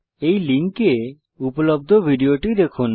এই লিঙ্কে উপলব্ধ ভিডিও টি দেখুন